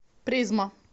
призма